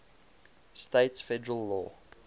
states federal law